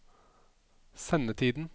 sendetiden